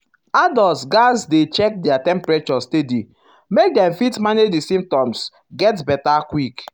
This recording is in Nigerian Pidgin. adults gatz dey um check their temperature steady make dem fit manage di symptoms get beta um quick.